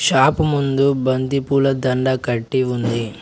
Shop ముందు బంతిపూల దండ కట్టి ఉంది.